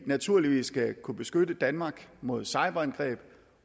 naturligvis skal kunne beskytte danmark mod cyberangreb